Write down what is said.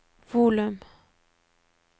volum